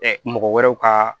mɔgɔ wɛrɛw ka